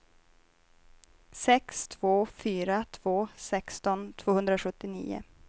sex två fyra två sexton tvåhundrasjuttionio